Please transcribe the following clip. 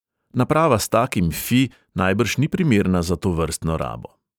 Naprava s takim fi najbrž ni primerna za tovrstno rabo.